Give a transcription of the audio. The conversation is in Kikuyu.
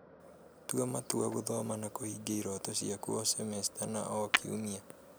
Tua matua gũthoma na kũhingia iroto ciaku o,semesta na o,kiumia